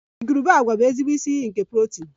Igurube agwa bụ ezigbo isi iyi nke protin